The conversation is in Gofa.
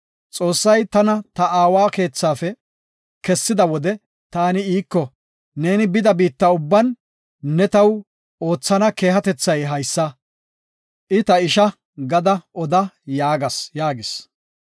Xoossay tana ta aawa keethafe kessida wode taani iiko, ‘Neeni bida biitta ubban ne taw oothana keehatethay haysa; “I ta isha” gada’ oda yaagas” yaagis.